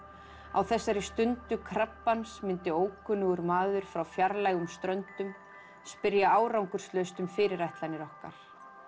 á þessari stundu krabbans myndi ókunnugur maður frá fjarlægum ströndum spyrja árangurslaust um fyrirætlanir okkar